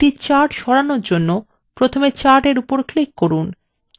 একটি chart সরানোর জন্য প্রথমে chart in উপর click করুন